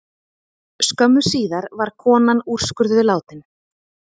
Skömmu síðar var konan úrskurðuð látin